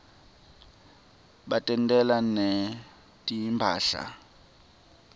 batentela netimphahla